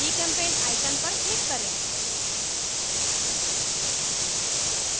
gchempaint icon पर click करें